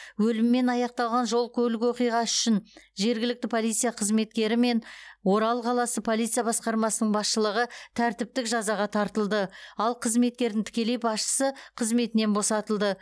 өліммен аяқталған жол көлік оқиғасы үшін жергілікті полиция қызметкері мен орал қаласы полиция басқармасының басшылығы тәртіптік жазаға тартылды ал қызметкердің тікелей басшысы қызметінен босатылды